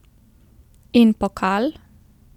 In pokal?